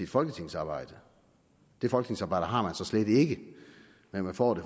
folketingsarbejdet det folketingsarbejde har man så slet ikke men man får